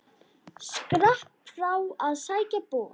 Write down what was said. Skrapp frá að sækja bor.